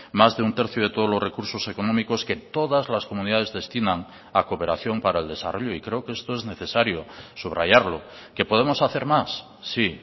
más de un tercio de todos los recursos económicos que todas las comunidades destinan a cooperación para el desarrollo y creo que esto es necesario subrayarlo qué podemos hacer más sí